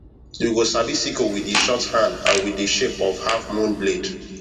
u go sabi sickle with the short hand and with the shape of half mooon blade